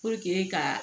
ka